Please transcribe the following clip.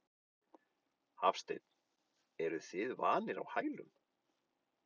Hafsteinn: Eruð þið vanir á hælum?